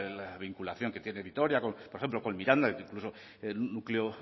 la vinculación que tiene vitoria con miranda por ejemplo incluso el núcleo